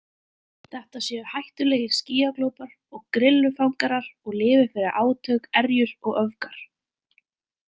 Þetta séu hættulegir skýjaglópar og grillufangarar og lifi fyrir átök, erjur og öfgar.